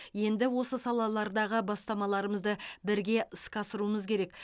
енді осы салалардағы бастамаларымызды бірге іске асыруымыз керек